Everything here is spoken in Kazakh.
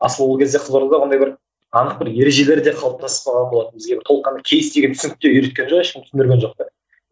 асылы ол кезде қызылордада қандай бір анық бір ережелер де қалыптаспаған болатын бізге бір толыққанды кейс деген түсінікті үйреткен жоқ ешкім түсіндірген жоқ та